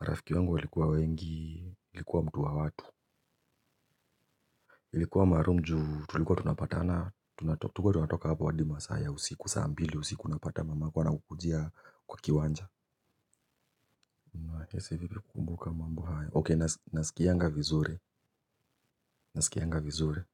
marafiki wangu walikuwa wengi nilikuwa mtu wa watu. Ilikuwa maalum juu tulikuwa tunapatana tunato tulikuwa tunatoka hapo hadi masaa ya usiku saa mbili usiku unapata mamako anakukujia kwa kiwanja unahisi vipi kukumbuka mambo hayon okay nasikianga vizuri nasikianga vizuri.